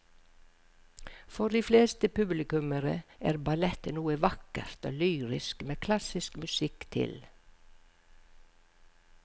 For de fleste publikummere er ballett noe vakkert og lyrisk med klassisk musikk til.